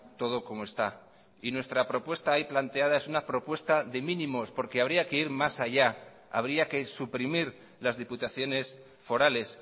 todo como está y nuestra propuesta ahí planteada es una propuesta de mínimos porque habría que ir más allá habría que suprimir las diputaciones forales